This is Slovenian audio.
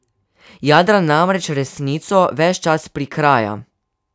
Jadran namreč resnico ves čas prikraja.